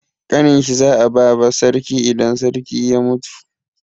Ƙanin shi za a ba sarki idan sarki ya mutu.